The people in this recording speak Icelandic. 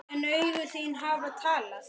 En augu þín hafa talað.